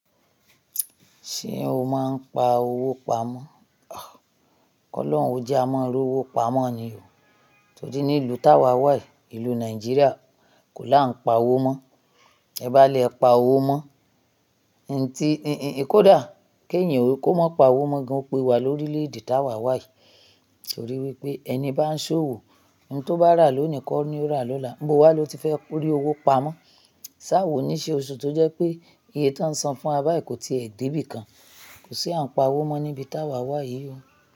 Ṣé o máa ń pa owó pamọ́? Kọ́lọ́run ó jẹ á ma rówó pamọ́ ni o. Torí ní ìlú tá wa wà yìí, ìlú Nàìjíríà kò lá ń pa owó mọ́. Tẹ bá lẹ pa owó mọ́, nǹ ti, ẹ kó dà kí èyàn ò kí ó mọ́ pa owó mọ́, ó pé wa lórílẹ̀ èdè tá wa wà yìí. Torí wípé ẹni bá ń ṣòwò, ohun tó bá rà lónì kọ́ ni ó rà lọ́la. Ibo wá ló ti fẹ́ rí owó pamọ́. Ṣe àwọn oníṣẹ́ oṣù tó jẹ́ pé iye tí wọ́n san fún wa báyìí kò tiẹ̀ dé bìkan, kò sí à ń pa owó mọ́ níbi tá wa wà yìí o.